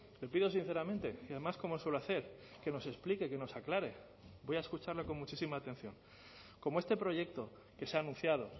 le pido sinceramente y además como suelo hacer que nos explique que nos aclare voy a escucharle con muchísima atención como este proyecto que se ha anunciado